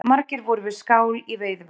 Margir voru við skál í Veiðivötnum